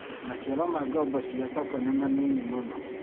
Maciaro ma ngombo cia SACCO nĩ manini mũno